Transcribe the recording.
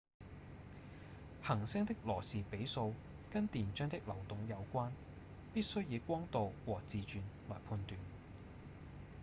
恆星的羅士比數跟電漿的流動有關必須以光度和自轉來判斷